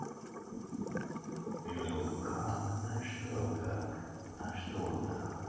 ну как а что как а что так